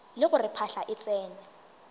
le gore phahla e tsene